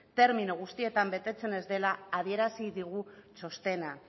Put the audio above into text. termino guztietan betetzen ez dela adierazi digu txostena